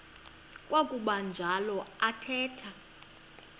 kwakuba njalo athetha